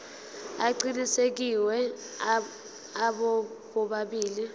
aqinisekisiwe abo bobabili